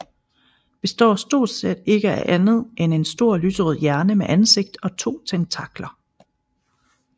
Består stort set ikke af andet end en stor lyserød hjerne med ansigt og to tentakler